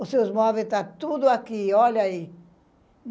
Os seus móveis tá tudo aqui, olha aí.